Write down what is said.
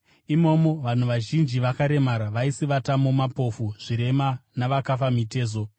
Imomo vanhu vazhinji vakaremara vaisivatamo, mapofu, zvirema navakafa mitezo.